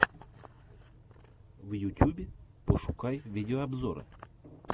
в ютюбе пошукай видеообзоры